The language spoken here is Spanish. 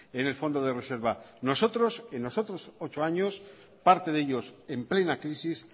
en el fondo de reserva nosotros en los otros ocho años parte de ellos en plena crisis